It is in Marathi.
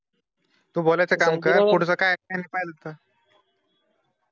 तू बोलायचं काम कर, पुढचं काय